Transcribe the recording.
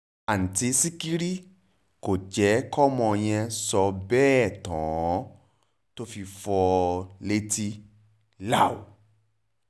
àǹtí sìkìrì kò jẹ́ kọ́mọ yẹn sọ bẹ́ẹ̀ tán tó fi fi fọ́ ọ létí láú